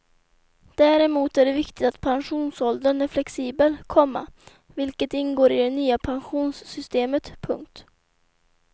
Däremot är det viktigt att pensionsåldern är flexibel, komma vilket ingår i det nya pensionssystemet. punkt